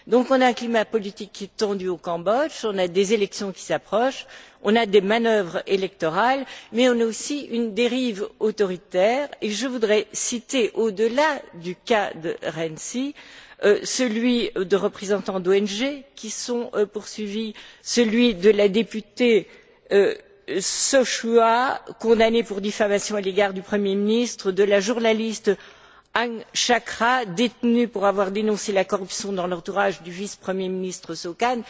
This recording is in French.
Donc, on a un climat politique qui est tendu au Cambodge, on a des élections qui approchent, on a des manœuvres électorales, mais on a aussi une dérive autoritaire, et je voudrais citer, au delà du cas de Rainsy, celui de représentants d'ONG qui sont poursuivis, celui de la députée Sochua, condamnée pour diffamation à l'égard du Premier ministre, du journaliste Hang Chakra, détenu pour avoir dénoncé la corruption dans l'entourage du vice premier ministre, Sok An,